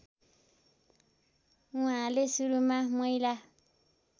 उहाँले सुरुमा महिला